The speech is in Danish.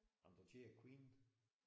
Jamen du kender Queen?